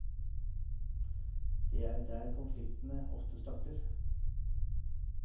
Det er der konfliktene ofte starter.